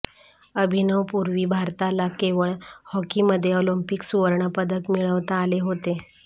अभिनवपूर्वी भारताला केवळ हॉकीमध्ये ऑलिंपिक सुवर्णपदक मिळवता आले होते